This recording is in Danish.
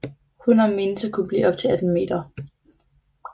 Hunner menes at kunne blive op til 18 meter